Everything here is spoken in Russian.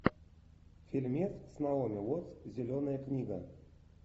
фильмец с наоми уоттс зеленая книга